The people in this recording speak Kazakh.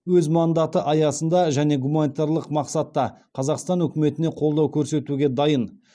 өз мандаты аясында және гуманитарлық мақсатта қазақстан үкіметіне қолдау көрсетуге дайын